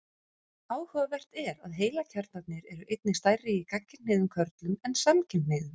Áhugavert er að heilakjarnarnir eru einnig stærri í gagnkynhneigðum körlum en samkynhneigðum.